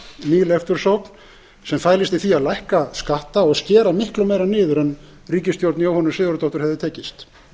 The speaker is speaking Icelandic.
leiftursókn ný leiftursókn sem fælist í því að lækka skatta og skera miklu meira niður en ríkisstjórn jóhönnu sigurðardóttur hefði tekist